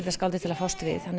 leikskáldið til að fást við